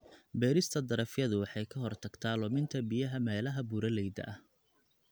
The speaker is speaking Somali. Beerista darafyadu waxay ka hortagtaa luminta biyaha meelaha buuraleyda ah.